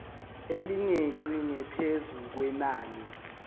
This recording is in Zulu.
elingeqi ngaphezu kwenani